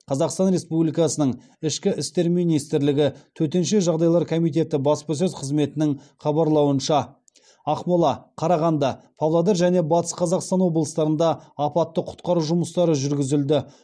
қазақстан республикасының ішкі істер министрлігі төтенше жағдайлар комитеті баспасөз қызметінің хабарлауынша ақмола қарағанды павлодар және батыс қазақстан облыстарында апатты құтқару жұмыстары жүргізілді